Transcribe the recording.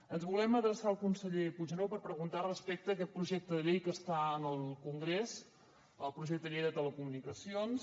ens volem adreçar al conseller puigneró per preguntar respecte a aquest projecte de llei que està en el congrés el projecte de llei de telecomunicacions